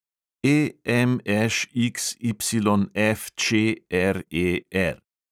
EMŠXYFČRER